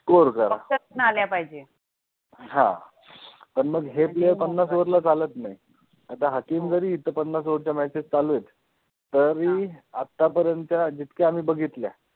हा. पण मग हे player पन्नास over ला चालत नाहीत. आता हाकीम जरी इथं पन्नास over च्या matches चालू आहेत. तरी आता पर्यंत त्या जितक्या आम्ही बघितल्या